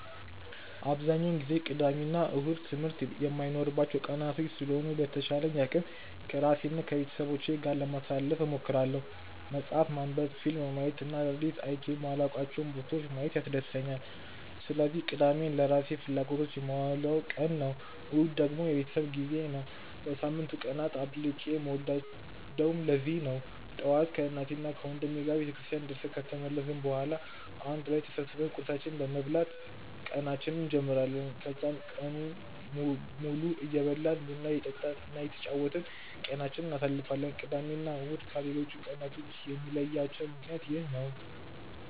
አብዛኛውን ጊዜ ቅዳሜ እና እሁድ ትምህርት የማይኖርባቸው ቀናቶች ስለሆኑ በተቻለኝ አቅም ከራሴ እና ከቤተሰቤ ጋር ጊዜ ለማሳለፍ እሞክራለሁ። መፅሀፍ ማንበብ፣ ፊልም ማየት እና አዳዲስ አይቼ የማላውቃቸውን ቦታዎች ማየት ያስደስተኛል። ስለዚህ ቅዳሜን ለራሴ ፍላጎቶች የማውለው ቀን ነው። እሁድ ደግሞ የቤተሰብ ጊዜ ነው። ከሳምንቱ ቀናት አብልጬ የምወደውም ለዚህ ነው። ጠዋት ከእናቴና ወንድሜ ጋር ቤተክርስቲያን ደርሰን ከተመለስን በኋላ አንድ ላይ ተሰብስበን ቁርሳችንን በመብላት ቀናችንን እንጀምራለን። ከዛም ቀኑን ሙሉ እየበላን፣ ቡና እየጠጣን እና እየተጫወትን ቀናችንን እናሳልፋለን። ቅዳሜ እና እሁድን ከሌሎቹ ቀናቶች የሚለያቸው ምክንያት ይህ ነው።